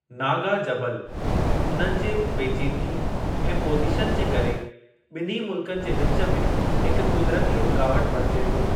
नागा जबलु, उन्हनि जे पेचीदिगी ऐं पोज़ीशन जे करे, ॿिन्ही मुल्कनि जे विच में हिकु क़ुदिरती रुकावट बणिजे थो।